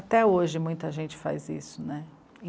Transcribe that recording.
Até hoje muita gente faz isso, né?